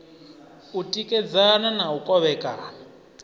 u tikedzana na u kovhekana